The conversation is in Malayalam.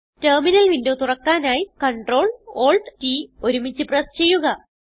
ടെർമിനൽ വിന്ഡോ തുറക്കാനായി Ctrl Alt T ഒരുമിച്ച് പ്രസ് ചെയ്യുക